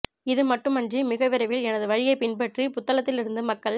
இது மட்டுமன்றி மிக விரைவில் எனது வழியைப் பின்பற்றி புத்தளத்திலிருந்து மக்கள்